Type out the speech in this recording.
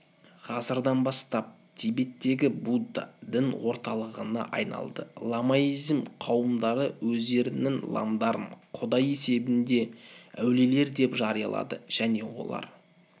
ғасырдан бастап тибеттегі будда дін орталығына айналды ламаизм қауымдары өздерінің ламдарын құдай есебінде әулиелер деп жариялады және олар